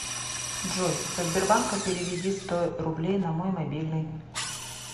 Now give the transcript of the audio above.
джой со сбербанка переведи сто рублей на мой мобильный